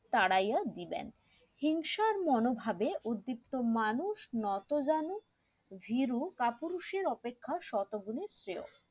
তারাইয়া দিলেন হিংসার মনোভাবে উদ্দীপ্ত মানুষ নতজানু ভীরু কাপুরুষ এর অপেক্ষা শতগুণে শ্রেয়